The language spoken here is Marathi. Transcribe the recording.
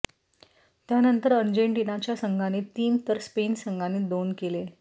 त्यानंतर अर्जेंटिनाच्या संघाने तीन तर स्पेन संघाने दोन केले